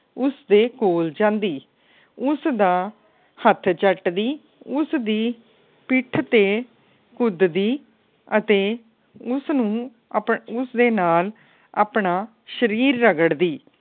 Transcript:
ਉਸ ਦੇ ਕੋਲ ਜਾਂਦੀ ਉਸ ਦਾ ਹੱਥ ਚੱਟਦੀ ਉਸ ਦੀ ਪਿੱਠ ਤੇ ਕੁਦਦੀ ਅਤੇ ਉਸ ਨੂੰ ਅਪਉਸਦੇ ਨਾਲ ਆਪਣਾ ਸਰੀਰ ਰਗੜਦੀ